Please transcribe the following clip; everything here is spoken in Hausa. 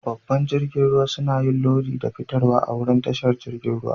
Babban jirigin ruwa suna yin lodi da fitarwa a'wurin tashar jirigin ruwa.